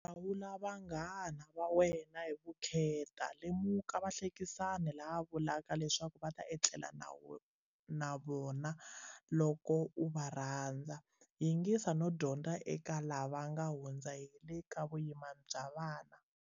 Hlawula vanghana va wena hi vukheta. Lemuka vahlekisani lava va vulaka leswaku u ta etlela na vona loko u va rhandza. Yingisa no dyondza eka lava va nga hundza hi le ka vuyimani bya vana.